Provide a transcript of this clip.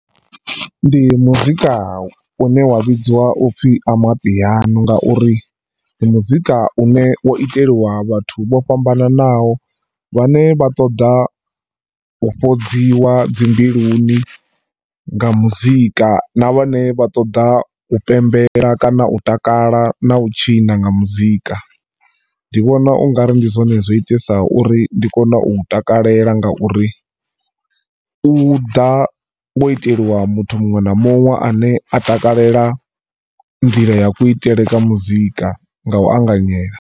Ndi muzika une wa vhidzwa upfhi amapiano ngauri ndi muzika une wo itelwa vhathu vho fhambananaho vhane vha ṱoḓa u fhodziwa dzi mbiluni nga muzika na vhone vha ṱoḓa u pembela kana u takala na u tshina nga muzika, ndi vhona ungari ndi zwone zwiitisaho uri ndi kone u u takalela ngauri u ḓa wo iteliwa muthu muṅwe na muṅwe ane a takalela nḓila ya kuitele kwa muzika nga u anganyela.